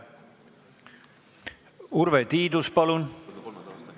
Urve Tiidus, palun!